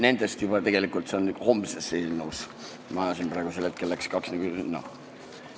Need on tegelikult homses eelnõus, ma ajasin praegu kaks asja segamini.